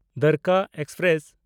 Dwarka express